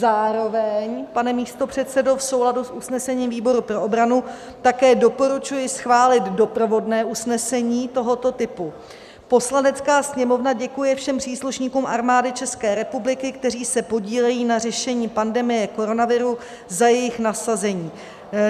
Zároveň, pane místopředsedo, v souladu s usnesením výboru pro obranu také doporučuji schválit doprovodné usnesení tohoto typu: "Poslanecká sněmovna děkuje všem příslušníkům Armády České republiky, kteří se podílejí na řešení pandemie koronaviru, za jejich nasazení."